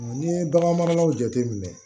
N'i ye bagan maralaw jate minɛ